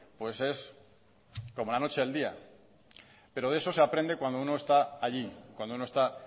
pues es como la noche y el día pero de eso se aprende cuando uno está allí cuando uno está